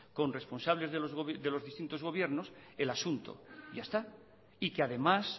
con responsables de los distintos gobiernos el asunto ya está y que además